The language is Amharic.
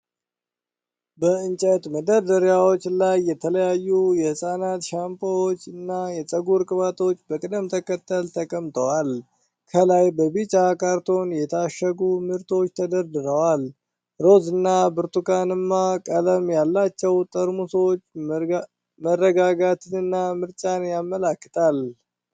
በእንጨት መደርደሪያዎች ላይ የተለያዩ የህፃናት ሻምፖዎች እና የፀጉር ቅባቶች በቅደም ተከተል ተቀምጠዋል። ከላይ በቢጫ ካርቶን የታሸጉ ምርቶች ተደርድረዋል። ሮዝ እና ብርቱካንማ ቀለም ያላቸው ጠርሙሶች መረጋጋትንና ምርጫን ያመለክታሉ።